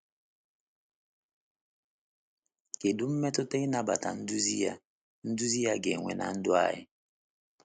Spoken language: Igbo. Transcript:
Kedu mmetụta ịnabata nduzi ya nduzi ya ga-enwe na ndụ anyị?